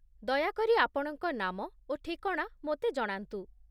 ଦୟାକରି ଆପଣଙ୍କ ନାମ ଓ ଠିକଣା ମୋତେ ଜଣାନ୍ତୁ